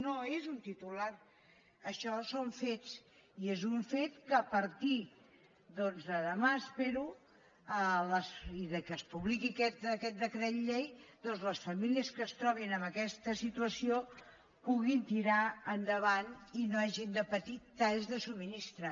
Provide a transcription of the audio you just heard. no és un titular això són fets i és un fet que a partir de dema espero i que es publiqui aquest decret llei doncs que les famílies que es trobin en aquesta situació puguin tirar endavant i no hagin de patir talls de subministrament